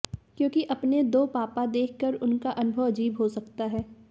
क्योंकि अपने दो पापा देखकर उनका अनुभव अजीब हो सकता है